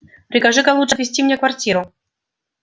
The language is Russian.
прикажи-ка лучше отвести мне квартиру